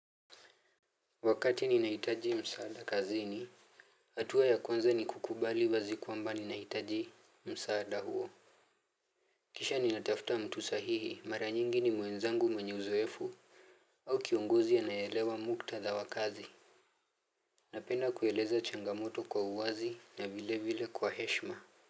Wakati ninahitaji msaada kazini hatua ya kwanza ni kukubali wazi kwamba ninahitaji msaada huo. Kisha ninatafuta mtu sahihi mara nyingi ni mwenzangu mwenye uzoefu. Au kiongozi anayeelewa muktadha wa kazi. Napenda kueleza changamoto kwa uwazi na vile vile kwa heshima.